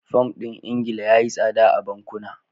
Fam ɗin Ingila ya yi tsada a bankuna.